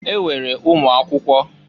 E nwere ụmụakwụkwọ.